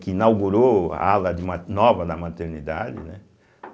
que inaugurou a ala de ma nova na maternidade, né.